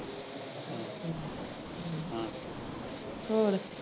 ਹੋਰ?